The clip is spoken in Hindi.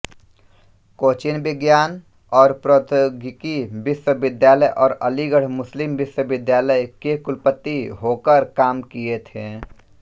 कोचीन विज्ञान और प्रौद्योगिकी विश्वविद्यालयऔर अलीगढ़ मुस्लिम विश्वविद्यालय के कुलपति होकर काम किए थे